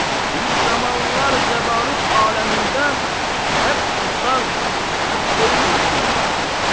Bir zamanlar cabarut aləmində həp uçar, həp öyünürdün də.